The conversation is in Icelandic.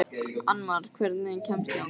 Annmar, hvernig kemst ég þangað?